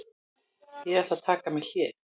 Ég ætla að taka mér hlé.